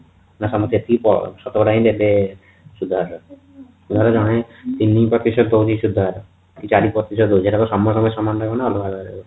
ମାନେ ସମସ୍ତେ ଯେତିକି ଶତକଡା ହି ଦେବେ ସୁଧହାର ତିନି ପ୍ରତିଶତ ଦଉଛି ସୁଧହାର କି ଚାରି ପ୍ରତିଶତ ଦଉଛି ସେଇଟା କଣ ସମସ୍ତ ଙ୍କ ପାଇଁ ସମାନ ରହିବ ନା ଅଲଗା ଅଲଗା ରହିବ